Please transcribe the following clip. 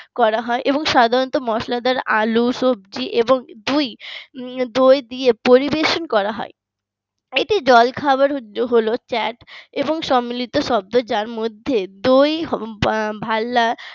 করা হয় এবং সাধারণত মসলাদার আলু সবজি এবং দই দই দিয়ে পরিবেশন করা হয়। এটি জলখাবার হলো এবং সম্মিলিত শব্দ যার মধ্যে দই ভাল্লার